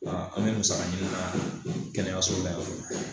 Aa an me musaka ɲini na kɛnɛyaso la yan fɔlɔ